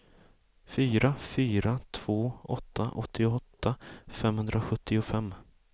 fyra fyra två åtta åttioåtta femhundrasjuttiofem